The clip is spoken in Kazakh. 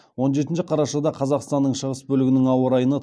он жетінші қарашада қазақстанның шығыс бөлігінің ауа райына